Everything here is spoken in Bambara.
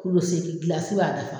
Kulu seegin gilasi b'a dafa.